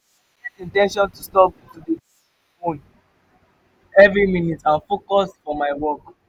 i get in ten tion to stop to dey check my phone every minute and focus for my work.